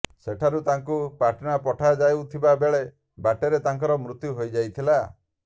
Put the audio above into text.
ସେଠାରୁ ତାଙ୍କୁ ପାଟନା ପଠାଯାଉଥିବା ବେଳେ ବାଟରେ ତାଙ୍କର ମୃତ୍ୟୁ ହୋଇଯାଇଥିଲା